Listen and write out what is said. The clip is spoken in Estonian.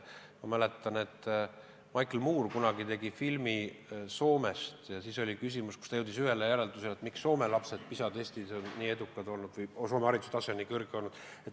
Ma mäletan, et Michael Moore tegi kunagi filmi Soomest ja ta jõudis ühele järeldusele, miks Soome lapsed PISA testis on nii edukad olnud, miks Soome hariduse tase on nii kõrge olnud.